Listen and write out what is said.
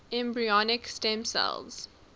embryonic stem cell